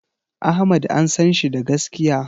Ahmad an sanshi da gaskiya